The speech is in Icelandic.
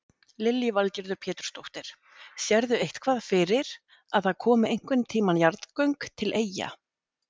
Lillý Valgerður Pétursdóttir: Sérðu eitthvað fyrir að það komi einhvern tíman jarðgöng til Eyja?